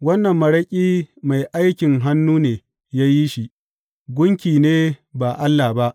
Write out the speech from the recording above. Wannan maraƙi, mai aikin hannu ne ya yi shi; gunki ne ba Allah ba.